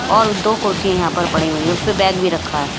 और दो कुर्सियां यहां पर पड़ी हुई हैं उस पे बैग भी रखा है।